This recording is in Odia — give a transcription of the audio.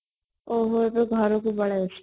ଓ ହୋ ତୁ ଘରକୁ ପଳେଈ ଆସିଛୁ